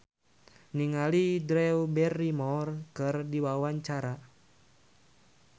Indah Kalalo olohok ningali Drew Barrymore keur diwawancara